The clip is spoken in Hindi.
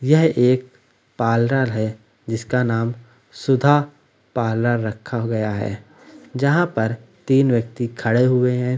यह एक पार्लर है जिसका नाम सुधा पार्लर रखा गया है जहाँ पर तीन व्यक्ति खड़े हुए हैं।